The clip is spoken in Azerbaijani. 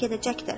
gedəcəkdir.